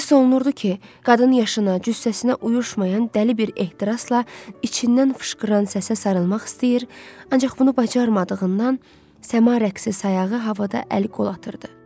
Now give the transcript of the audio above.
Hiss olunurdu ki, qadın yaşına, cüssəsinə uyuşmayan dəli bir ehtirasla içindən fışqıran səsə sarılmaq istəyir, ancaq bunu bacarmadığından səma rəqsi sayağı havada əl-qol atırdı.